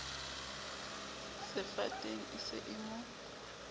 sefateng e se e mo